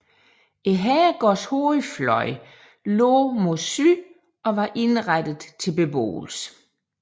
Herregårdens hovedfløj lå mod syd og var indrettet til beboelse